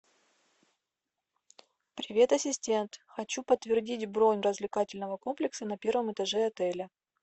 привет ассистент хочу подтвердить бронь развлекательного комплекса на первом этаже отеля